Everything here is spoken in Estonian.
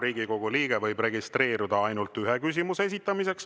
Riigikogu liige võib registreeruda ainult ühe küsimuse esitamiseks.